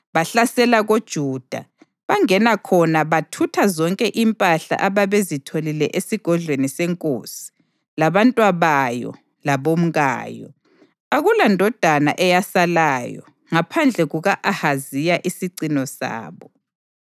Bahlasela koJuda, bangena khona bathutha zonke impahla ababezitholile esigodlweni senkosi, labantwabayo labomkayo. Akulandodana eyasalayo ngaphandle kuka-Ahaziya isicino sabo.